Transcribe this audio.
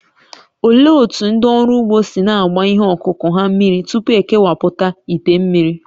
Olee otú ndị ọrụ ugbo si na-agba ihe ọkụkụ ha mmiri tupu e kewapụta ite mmiri?